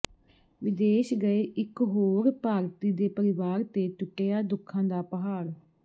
ਵਿਦੇਸ਼ ਗਏ ਇੱਕ ਹੋਰ ਭਾਰਤੀ ਦੇ ਪਰਿਵਾਰ ਤੇ ਟੁੱਟਿਆ ਦੁੱਖਾਂ ਦਾ ਪਹਾੜ